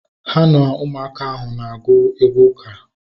Ha na ụmụaka ahụ na-agụ egwú uka